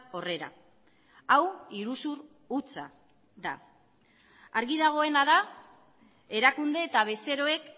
horrera hau iruzur hutsa da argi dagoena da erakunde eta bezeroek